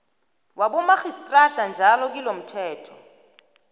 wabomarhistrada njalo kilomthetho